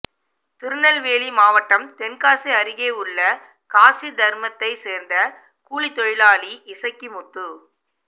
திருநெல்வேலி மாவட்டம் தென்காசி அருகே உள்ள காசிதர்மத்தை சேர்ந்த கூலித்தொழிலாளி இசக்கிமுத்து